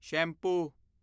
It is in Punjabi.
ਸ਼ੈਂਪੂ